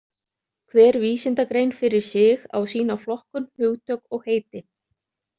Hver vísindagrein fyrir sig á sína flokkun, hugtök og heiti.